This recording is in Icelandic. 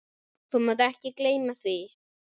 Þú mátt ekki gleyma því!